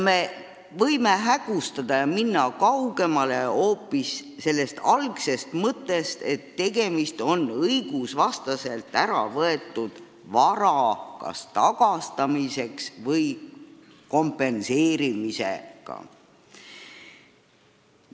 Me võime kaugeneda algsest mõttest, et tegemist on õigusvastaselt ära võetud vara tagastamise või kompenseerimisega.